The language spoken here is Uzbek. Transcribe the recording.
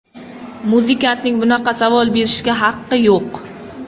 Muzikantning bunaqa savol berishga haqqi yo‘q.